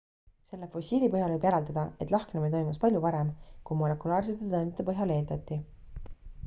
selle fossiili põhjal võib järeldada et lahknemine toimus palju varem kui molekulaarsete tõendite põhjal eeldati